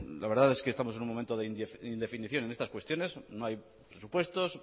la verdad que estamos en un momento de indefinición en estas cuestiones no hay presupuestos